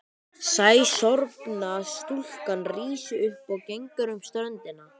Sæsorfna stúlkan rís upp og gengur um ströndina.